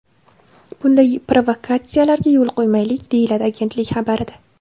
Bunday provokatsiyalarga yo‘l qo‘ymaylik”, deyiladi agentlik xabarida.